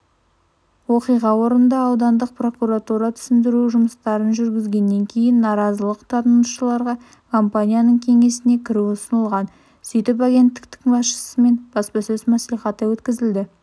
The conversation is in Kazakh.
оқиға орнында аудандық прокуратура түсіндіру жұмыстарын жүргізгеннен кейін наразылық танытушыларға компанияның кеңсесіне кіру ұсынылған сөйтіп агенттік басшысымен баспасөз мәслихаты өткізілді